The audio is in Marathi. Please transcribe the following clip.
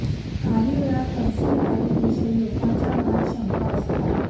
काही वेळा कन्सिल वायिरगविषयी लोकांच्या मनात शंका असतात